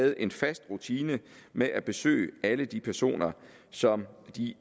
havde en fast rutine med at besøge alle de personer som de